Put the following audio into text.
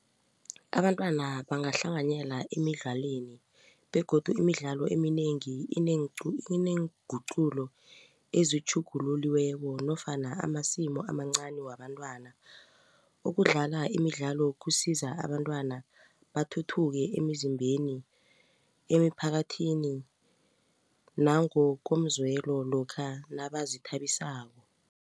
Abantwana bangahlanganyela emidlalweni begodu imidlalo eminengi ineenguqulo ezitjhugululiweko nofana amasimu amancani wabantwana ukudlala imidlalo kusiza abantwana bathuthuke emizimbeni emiphakathini nangokomzwelo lokha nabazithabisako.